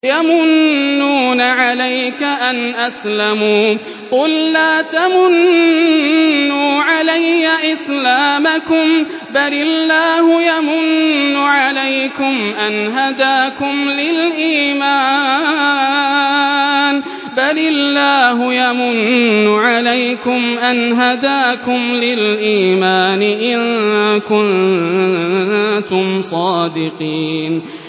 يَمُنُّونَ عَلَيْكَ أَنْ أَسْلَمُوا ۖ قُل لَّا تَمُنُّوا عَلَيَّ إِسْلَامَكُم ۖ بَلِ اللَّهُ يَمُنُّ عَلَيْكُمْ أَنْ هَدَاكُمْ لِلْإِيمَانِ إِن كُنتُمْ صَادِقِينَ